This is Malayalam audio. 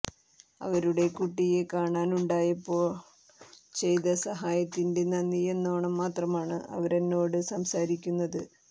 അവരുടെ കുട്ടിയേ കാണാണ്ടായപ്പോൾ ചെയ്ത സഹായത്തിന്റെ നന്ദിയെന്നോണം മാത്രമാണ് അവരെന്നോട് സംസാരിക്കുന്നത്